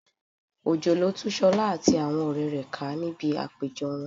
Òjò lo tú Ṣọlá àti àwọn ọ̀rẹ́ rẹ̀ ká níbi àpéjọ wọn